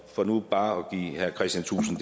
for nu bare at give herre kristian thulesen